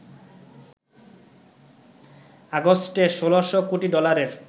আগস্টে ১৬০০ কোটি ডলারের